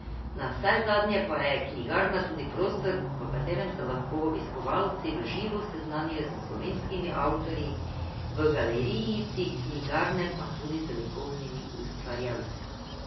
Navsezadnje pa je knjigarna tudi prostor, v katerem se lahko obiskovalci v živo seznanijo s slovenskimi avtorji, v galerijici knjigarne pa tudi z likovnimi ustvarjalci.